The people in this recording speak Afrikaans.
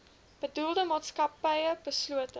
bedoelde maatskappy beslote